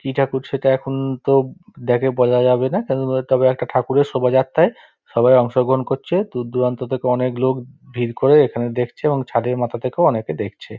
ইটা খুব সেটা এখন তো বলা যাবে না কারন তবে একটা ঠাকুরের শোভাযাত্ৰায় সবাই অংশ গ্রহণ করছে। দূর দূরান্ত থেকে অনেক লোক ভিড় করে এখানে দেখছে এবং ছাদের মাথা থেকে অনেকে দেখছে।